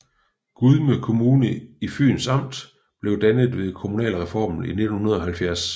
Gudme Kommune i Fyns Amt blev dannet ved kommunalreformen i 1970